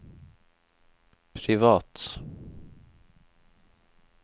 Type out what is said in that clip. privat